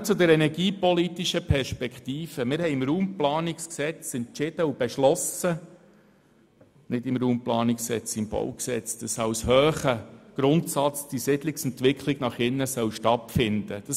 Kurz zu den energiepolitischen Perspektiven: Wir haben im Rahmen des Baugesetzes (BauG) beschlossen, dass die Siedlungsentwicklung nach innen als hoher Grundsatz stattfinden soll.